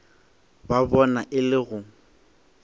ba bona e le go